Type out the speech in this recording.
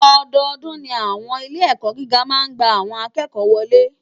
Òdòdún ni áwòn ilé èkò gigá má n gbá áwòn àkèkò wòlé